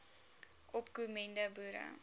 opko mende boere